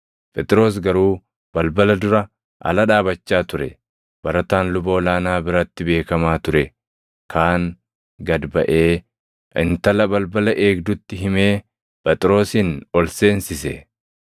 Phexros garuu balbala dura ala dhaabachaa ture. Barataan luba ol aanaa biratti beekamaa ture kaan gad baʼee intala balbala eegdutti himee Phexrosin ol seensise.